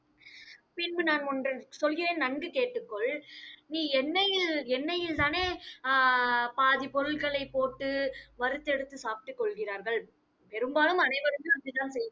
பின்பு நான் ஒன்று சொல்கிறேன், நன்கு கேட்டுக்கொள். நீ எண்ணெயில், எண்ணெயில்தானே அஹ் பாதி பொருட்களை போட்டு வறுத்தெடுத்து சாப்பிட்டுக் கொள்கிறார்கள் பெரும்பாலும் அனைவருமே அப்படிதான் செய்~